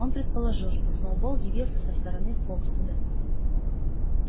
он предположил что сноуболл явился со стороны фоксвуда